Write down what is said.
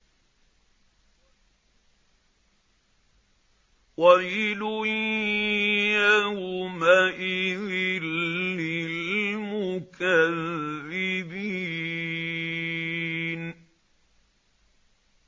وَيْلٌ يَوْمَئِذٍ لِّلْمُكَذِّبِينَ